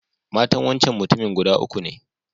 Matan wancan mutumin guda uku ne.